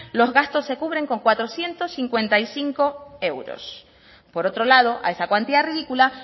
los gastos se cubren con cuatrocientos cincuenta y cinco euros por otro lado a esa cuantía ridícula